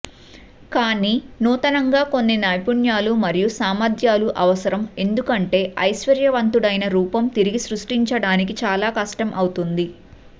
కానీ నూతనంగా కొన్ని నైపుణ్యాలు మరియు సామర్థ్యాలు అవసరం ఎందుకంటే ఐశ్వర్యవంతుడైన రూపం తిరిగి సృష్టించడానికి చాలా కష్టం అవుతుంది